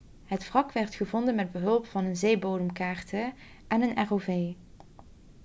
het wrak werd gevonden met behulp van zeebodemkaarten en een rov